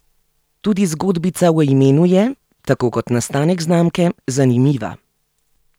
Tudi zgodbica o imenu je, tako kot nastanek znamke, zanimiva.